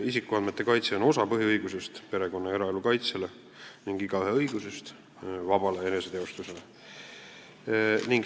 Isikuandmete kaitse on osa perekonna- ja eraelu kaitse põhiõigusest ning igaühe õigusest vabale eneseteostusele.